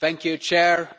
Mr President,